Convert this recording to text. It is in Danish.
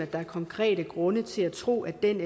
der er konkrete grunde til at tro at den